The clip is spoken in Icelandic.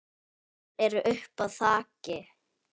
Þeir eru uppi á þaki.